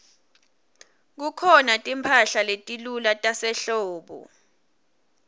kukhona timphahla letilula tasehlobo